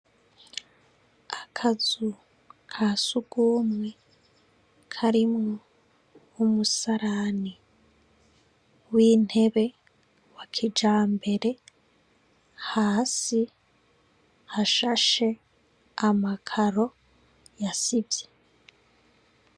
Akazu ka siugumwe karimwo w'umusalani w'intebe wa kija mbere hasi hashashe amakaro yasivye.